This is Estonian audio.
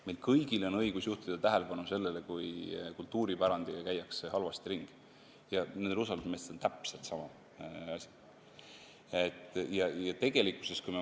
Meil kõigil on õigus juhtida tähelepanu sellele, kui kultuuripärandiga käiakse halvasti ringi, nendel usaldusmeestel on täpselt samasugune õigus.